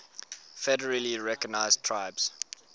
federally recognized tribes